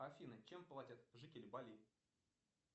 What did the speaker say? афина чем платят жители бали